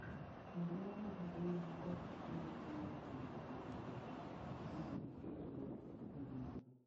Barue mag mbuyi ma ok adier dwaro mondo ji oduokgi mondo giketgo miriambo.